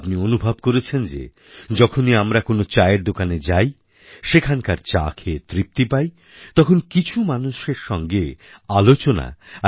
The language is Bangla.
আপনি অনুভব করেছেন যে যখনই আমরা কোনও চায়ের দোকানে যাই সেখানকার চা খেয়ে তৃপ্তি পাই তখন কিছু মানুষের সঙ্গে আলোচনা আর